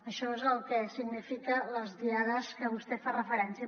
això és el que signifiquen les diades a què vostè fa referència